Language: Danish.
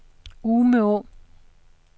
Umeå